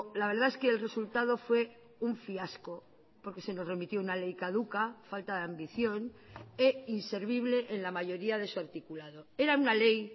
la verdad es que el resultado fue un fiasco porque se nos remitió una ley caduca falta de ambición e inservible en la mayoría de su articulado era una ley